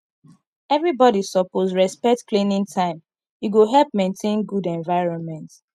everybody suppose respect cleaning time e go help maintain good environment